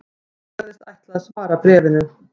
Hann sagðist ætla að svara bréfinu